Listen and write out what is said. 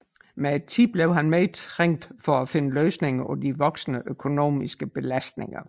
Med tiden blev han mere trængt for at finde løsninger på de voksende økonomiske belastninger